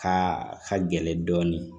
Ka ka gɛlɛn dɔɔnin